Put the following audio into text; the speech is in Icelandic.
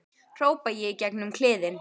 hrópa ég í gegn um kliðinn.